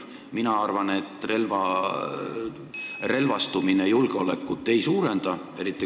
Mina arvan, et relvastumine julgeolekut ei suurenda.